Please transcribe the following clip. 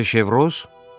Xanım De Şevroz?